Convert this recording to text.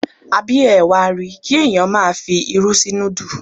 Àbí ẹ wa ri, kí ẹ̀yàn máa fi irú sí núdù.